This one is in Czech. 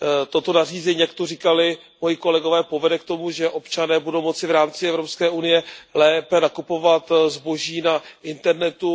Toto nařízení, jak zde říkali moji kolegové, povede k tomu, že občané budou moci v rámci Evropské unie lépe nakupovat zboží na internetu.